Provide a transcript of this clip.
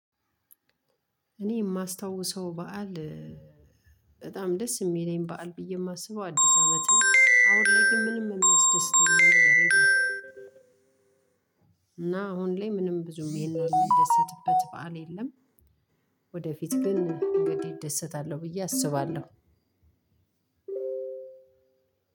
እኔ የማስታውሰው በዓል በጣም ደስ የሚለኝ በዓል ብዬ የማስበው አዲስ አመት ነው አሁን ላይ ግን ምንም የሚያስደስተኝ ነገር የለም። እና አሁን ላይ ምንም ብዙም ይሄን ያህል የምንደሰትበት በዓል የለም። ወደፊት ግን እንግዲህ እደሰታለሁ ብዬ አስባለሁ።